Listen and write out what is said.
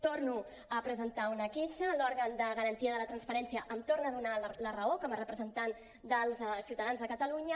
torno a presentar una queixa l’òrgan de garantia de la transparència em torna a donar la raó com a representant dels ciutadans de catalunya